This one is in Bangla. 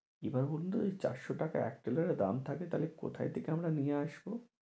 এবার বলুন তো চারশো টাকা এক টেলরের দাম থাকে কোথা থেকে আমরা নিয়ে আসবো?